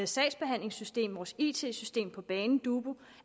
sagsbehandlingssystem vores it system på banen dubu